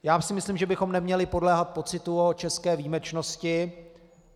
Já si myslím, že bychom neměli podléhat pocitu o české výjimečnosti.